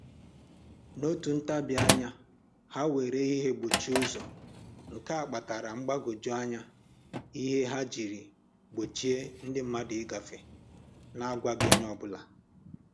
N'otu ntabianya, ha were ihe gbochie ụzọ, nke a kpatara mgbagwoju anya ihe ha jiri gbochie ndi mmadụ ịgafe na-agwaghị onye ọbụla